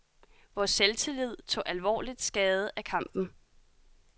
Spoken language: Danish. Vores selvtillid tog alvorligt skade af kampen.